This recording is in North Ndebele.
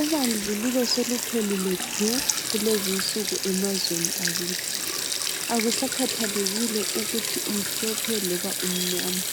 Ubandlululo soluphelile du kulezinsuku emazweni akithi akusakhethelekile ukuthi umhlophe loba umnyama